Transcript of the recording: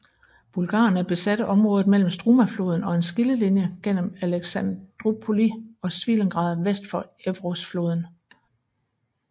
Bulgarerne besatte området mellem Strumafloden og en skillelinje gennem Alexandroupoli og Svilengrad vest for Evrosfloden